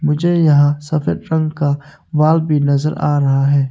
मुझे यहां सफेद रंग का वाल भी नजर आ रहा है।